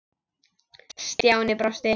Stjáni brosti.